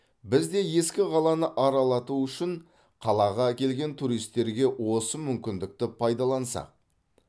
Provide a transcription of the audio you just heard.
біз де ескі қаланы аралатау үшін қалаға келген туристерге осы мүмкіндікті пайдалансақ